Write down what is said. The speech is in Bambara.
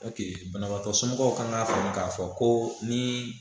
banabagatɔ somɔgɔw kan k'a faamu k'a fɔ ko ni